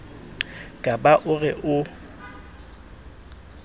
ka ba o re o